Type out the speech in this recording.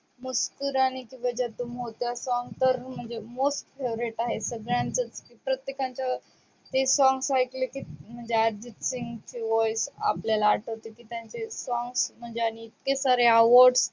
मुस्कूराणे की वजाह तुम हो त्या song तर म्हणजे most favorite आहे. सगळ्यांचे प्रत्येकाच्या ते songs ऐकले की अर्जित सिंग voice आपल्याला आठवते, की त्यांचे songs आणि awards